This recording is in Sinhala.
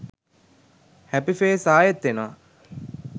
හැපි ෆේස් ආයෙත් එනවා